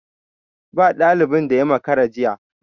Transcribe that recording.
Ba dalibin da ya makara jiya.